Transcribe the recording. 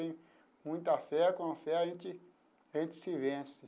Eu tenho muita fé, com fé a gente a gente se vence.